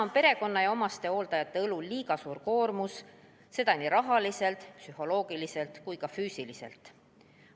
Perekonna ja omastehooldajate õlul on liiga suur koormus, seda nii rahaliselt, psühholoogiliselt kui ka füüsiliselt.